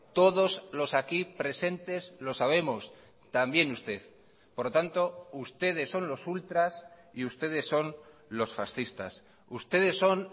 todos los aquí presentes lo sabemos también usted por lo tanto ustedes son los ultras y ustedes son los fascistas ustedes son